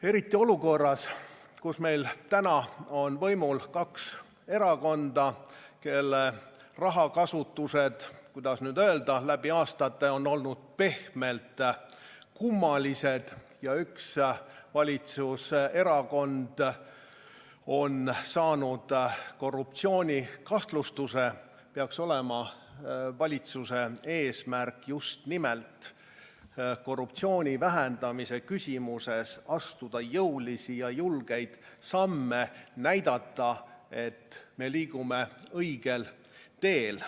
Eriti olukorras, kus meil on võimul kaks erakonda, kelle rahakasutused, kuidas nüüd öelda, on läbi aastate olnud pehmelt öeldes kummalised ja üks valitsuserakond on saanud korruptsioonikahtlustuse, peaks olema valitsuse eesmärk just nimelt korruptsiooni vähendamisel astuda jõulisi ja julgeid samme ning näidata, et me liigume õigel teel.